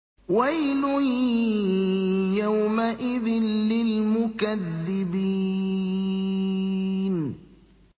وَيْلٌ يَوْمَئِذٍ لِّلْمُكَذِّبِينَ